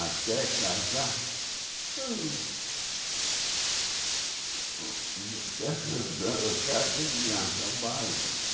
Até casar, eu... que dança baile.